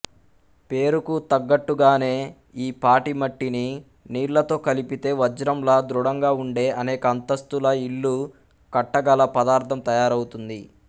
పేరుకు తగ్గట్టుగానే ఈ పాటిమట్టిని నీళ్లతో కలిపితే వజ్రంలా దృఢంగా ఉండే అనేక అంతస్తుల ఇళ్ళు కట్టగల పదార్థం తయారౌతుంది